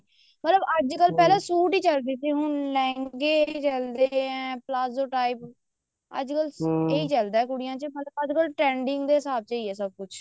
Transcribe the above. ਮਤਲਬ ਅੱਜਕਲ ਪਹਿਲਾਂ ਸੂਟ ਹੀ ਚੱਲਦੇ ਤੇ ਲਹਿੰਗੇ ਚੱਲਦੇ ਆਂ ਪਲਾਜੋ type ਅੱਜਕਲ ਇਹ ਚੱਲਦਾ ਕੁੜੀਆਂ ਚ ਅੱਜਕਲ trending ਦੇ ਹਿਸਾਬ ਨਾਲ ਸਾਰਾ ਕੁੱਝ